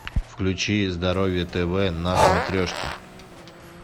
включи здоровье тв на смотрешке